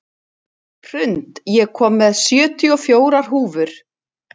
Hrund, ég kom með sjötíu og fjórar húfur!